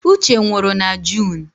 Uche nwụrụ na Junu